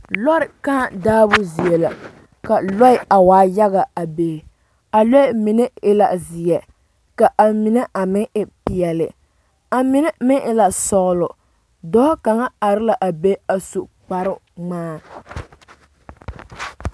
Lɔɛ kaa daabo zie la ka lɔɛ a waa yaga a be a lɔɛ mine e la zeɛ ka a mine a meŋ e peɛle a mine meŋ e la sɔgelɔ dɔɔ kaŋa are la a be a su kɔɔte kparoo ŋmaa